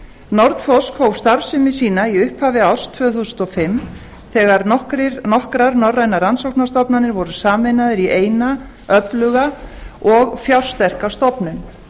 nordforsk hóf starfsemi sína í upphafi árs tvö þúsund og fimm þegar nokkrar norrænar rannsóknarstofnanir voru sameinaðar í eina öfluga og fjársterka stofnun